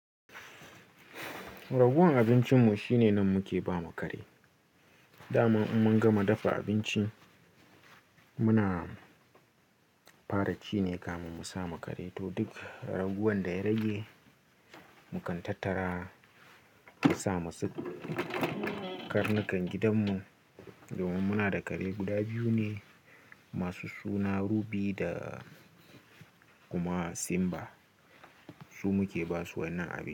Raguwan abincinmu shine nan muke ba ma kare. Da ma in mun gama dafa abincin muna fara ci ne kamun musa makari to duk raguwan da ya rage mukan tattara sa ma su karnukan gidanmu. Domin muna da kare guda biyu ne masu suna Ruby da kuma Simba. Su muke basu wannan abinci.